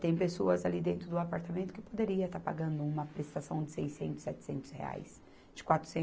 Tem pessoas ali dentro do apartamento que poderiam estar pagando uma prestação de seiscentos, setecentos reais, de